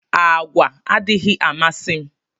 Àgwà adịghị amasi mụ